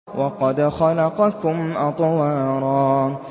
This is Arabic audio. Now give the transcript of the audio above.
وَقَدْ خَلَقَكُمْ أَطْوَارًا